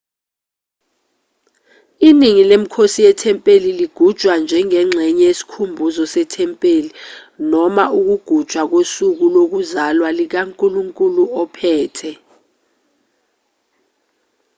iningi lemikhosi yethempeli ligujwa njengengxenye yesikhumbuzo sethempeli noma ukugujwa kosuku lokuzalwa likankulunkulu ophethe